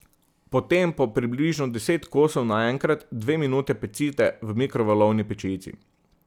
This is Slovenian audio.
Potem po približno deset kosov naenkrat dve minuti pecite v mikrovalovni pečici.